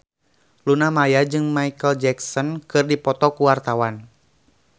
Luna Maya jeung Micheal Jackson keur dipoto ku wartawan